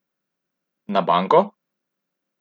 Na banko?